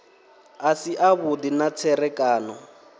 a si avhudi na tserekano